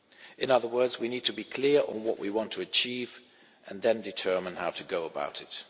In other words, we need to be clear on what we want to achieve, and then determine how to go about it.